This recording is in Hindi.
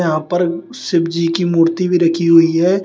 यहां पर शिवजी की मूर्ति भी रखी हुई है।